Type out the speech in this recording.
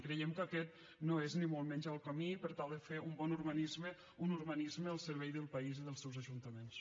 creiem que aquest no és ni molt menys el camí per tal de fer un bon urbanisme un urbanisme al servei del país i dels seus ajuntaments